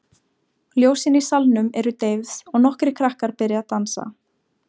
Ljósin í salnum eru deyfð og nokkrir krakkar byrja að dansa.